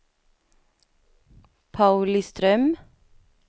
Pauliström